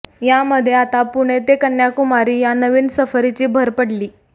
यामधे आता पुणे ते कन्याकुमारी या नवीन सफरीची भर पडली